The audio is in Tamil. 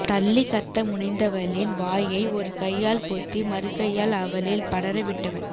தள்ளி கத்த முனைந்தவளின் வாயை ஒரு கையால் பொத்தி மறுகையால் அவளில் படரவிட்டவன்